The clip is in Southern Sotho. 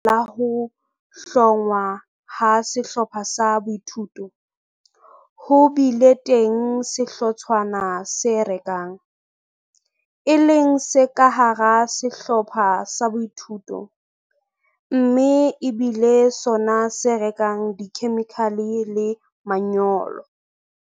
Ka baka la ho hlongwa ha sehlopha sa boithuto, ho bile teng sehlotshwana se rekang, e leng se ka hara sehlopha sa boithuto, mme e bile sona se rekang dikhemikhale le manyolo.